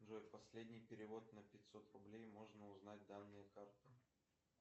джой последний перевод на пятьсот рублей можно узнать данные карты